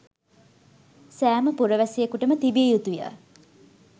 සෑම පුරවැසියෙකුටම තිබිය යුතුය.